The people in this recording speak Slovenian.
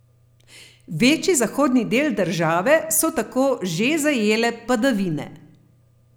Večji zahodni del države so tako že zajele padavine.